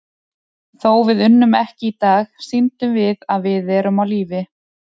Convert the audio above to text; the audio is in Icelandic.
Þó við unnum ekki í dag, sýndum við að við erum á lífi.